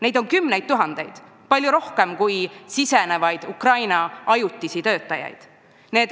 Neid on kümneid tuhandeid, palju rohkem kui Ukrainast sisse tulevad ajutisi töötajaid.